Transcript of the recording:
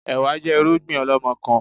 Ẹ̀wá jẹ́ irúgbìn ọlọmọkan